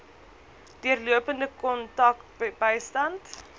deurlopende kontak bystand